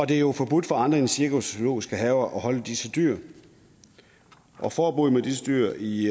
det er jo forbudt for andre end cirkus og zoologiske haver at holde disse dyr og forbuddet mod disse dyr i